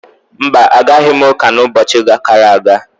Mba, Agaghị m uka na ubochi uka gara aga